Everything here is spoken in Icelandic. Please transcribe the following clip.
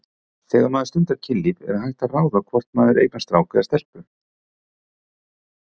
Þegar maður stundar kynlíf er hægt að ráða hvort maður eignast strák eða stelpu?